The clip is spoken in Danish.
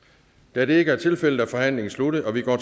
da det ikke er tilfældet er forhandlingen sluttet og vi går